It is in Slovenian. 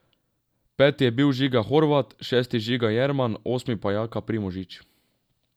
Peti je bil Žiga Horvat, šesti Žiga Jerman, osmi pa Jaka Primožič.